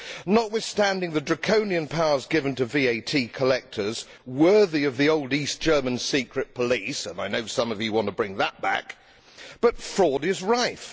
Notwithstanding the draconian powers given to VAT collectors, worthy of the old East German secret police and I know some of you want to bring that back fraud is rife.